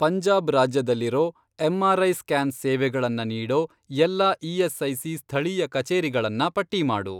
ಪಂಜಾಬ್ ರಾಜ್ಯದಲ್ಲಿರೋ, MRI. Scan ಸೇವೆಗಳನ್ನ ನೀಡೋ ಎಲ್ಲಾ ಇ.ಎಸ್.ಐ.ಸಿ. ಸ್ಥಳೀಯ ಕಚೇರಿಗಳನ್ನ ಪಟ್ಟಿ ಮಾಡು.